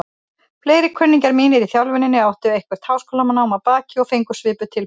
Fleiri kunningjar mínir í þjálfuninni áttu eitthvert háskólanám að baki og fengu svipuð tilboð.